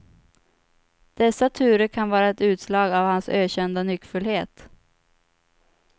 Dessa turer kan vara ett utslag av hans ökända nyckfullhet.